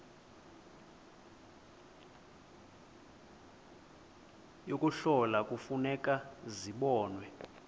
yokuhlola kufuneka zibonwe